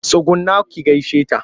Tsugunna ki gaishe ta!